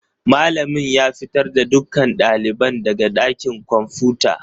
Malamin ya fitar da dukkan ɗaliban daga ɗakin kwamfuta.